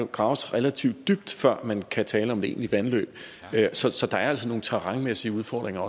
graves relativt dybt før man kan tale om et egentligt vandløb så så der er altså også nogle terrænmæssige udfordringer